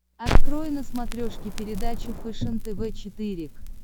открой на смотрешке передачу фэшен тв четыре к